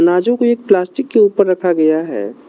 नाजों को एक प्लास्टिक के ऊपर रखा गया है।